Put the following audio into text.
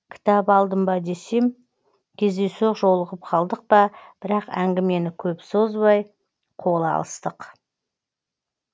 кітап алдым ба десем кездейсоқ жолығып қалдық па бірақ әңгімені көп созбай қол алыстық